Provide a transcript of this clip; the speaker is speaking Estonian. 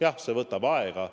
Jah, see võtab aega.